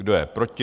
Kdo je proti?